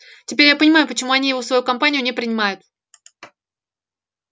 теперь я понимаю почему они его в свою компанию не принимают